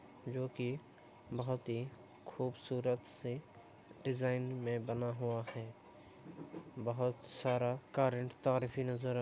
जो कि बोहोत ही खूबसूरत से डिज़ाइन में बना हुआ है। बोहोत सारा करंट तार भी नज़र --